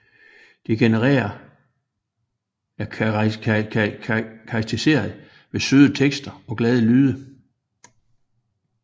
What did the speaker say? Genren er karakteriseret ved søde tekste og glade lyde